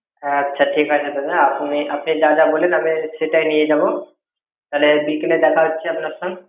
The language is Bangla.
হ্যা আচ্ছা ঠিক আছে দাদা আপনি যাহ যাহ বললেন আমি সেটাই নিয়ে যাবো তাহলে বিকেলে দেখা হচ্ছে আপনার সঙ্গ